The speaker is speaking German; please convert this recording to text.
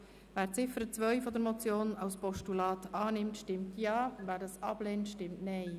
Wer die Ziffer 2 der Motion als Postulat annimmt, stimmt Ja, wer dies ablehnt, stimmt Nein.